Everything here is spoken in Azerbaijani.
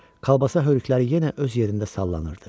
Kolbasa hörükləri yenə öz yerində sallanırdı.